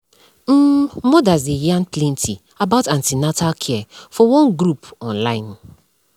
um mothers dey yarn plenty about an ten atal care for one group on online